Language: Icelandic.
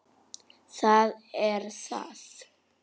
Það er það.